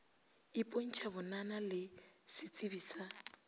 ipontšha bonana le setsebi sa